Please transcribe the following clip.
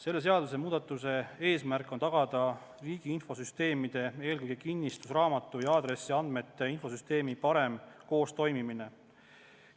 Sellega seotud muudatuse eesmärk on tagada riigi infosüsteemide, eelkõige kinnistusraamatu ja aadressiandmete infosüsteemi parem koostoimimine.